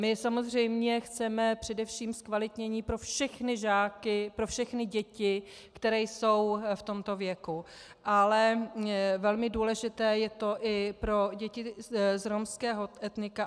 My samozřejmě chceme především zkvalitnění pro všechny žáky, pro všechny děti, které jsou v tomto věku, ale velmi důležité je to i pro děti z romského etnika.